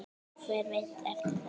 Hver veit eftir það?